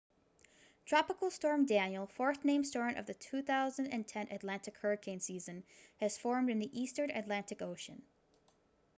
tropical storm danielle fourth named storm of the 2010 atlantic hurricane season has formed in the eastern atlantic ocean